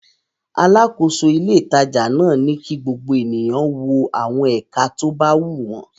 Alákòóso ilé-ìtajà náà ni kí gbogbo ènìyàn wo àwọn ẹ̀ka tó bá wù wọ́n.